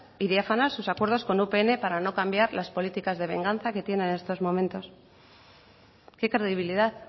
y diáfanos sus acuerdos con upn para no cambiar las políticas de venganza que tiene en estos momentos qué credibilidad